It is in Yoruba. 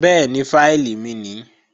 Bẹ́ẹ̀ni, fáìlì mi nìí